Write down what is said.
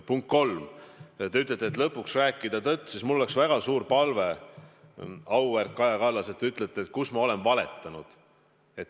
Punkt kolm, kui te ütlete, et lõpuks tuleks rääkida tõtt, siis mul oleks väga suur palve, auväärt Kaja Kallas: öelge, kus ma olen valetanud.